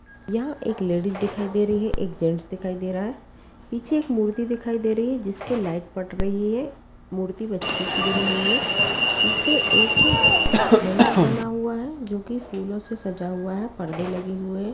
यहाँ एक लेडीजस दिखाई दे रही है एक जेंट्स दिखाई दे रहा है पीछे एक मूर्ति दिखाई दे रही है जिसपर एक लाइट पड़ रही है मूर्ति बच्चे की बनी हुई है पीछे एक मंडप लगा हुआ है जोकी फूलों से सजा हुआ हक पर्दे लगे हुए हैं।